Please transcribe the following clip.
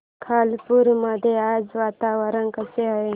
खालापूर मध्ये आज वातावरण कसे आहे